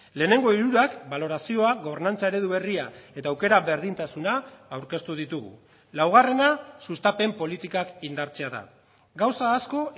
lehenengo hirurak balorazioa gobernantza eredu berria eta aukera berdintasuna aurkeztu ditugu laugarrena sustapen politikak indartzea da gauza asko